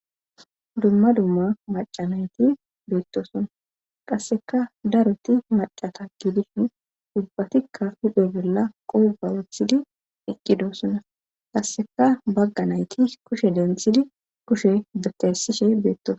Dumma dumma macanayti beettosonna qasseka daroti macata giidishin ubbatikka hidhe gella qoba wethidi iqqidosona qasseka bagga nayti kushe denthidi kushe betesishe beettosa.